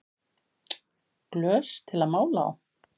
Glös til að mála á